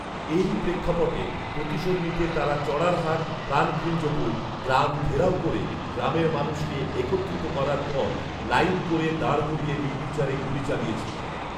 এরই প্রেক্ষাপটে প্রতিশোধ নিতে তারা চড়ারহাট প্রাণকৃঞ্জপুর গ্রাম ঘেরাও ক'রে গ্রামের মানুষকে একত্রিত করার পর লাইন করে দাঁড় করিয়ে নির্বিচারে গুলি চালিয়েছিল।